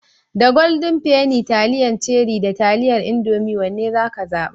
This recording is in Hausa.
Da Golden penny, taliyan Cherie da taliyar Indomie wanne zaka zaɓa?